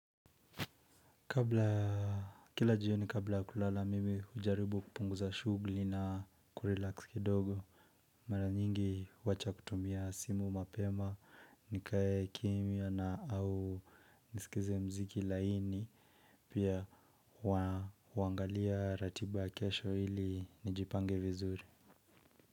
Kila jioni kabla ya kulala mimi hujaribu kupunguza shughuli na kurelax kidogo. Mara nyingi huwacha kutumia simu mapema nikae kimya na au nisikize muziki laini pia huangalia ratiba kesho ili nijipange vizuri.